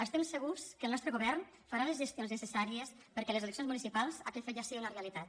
estem segurs que el nostre govern farà les gestions necessàries perquè a les eleccions municipals aquest fet ja sigui una realitat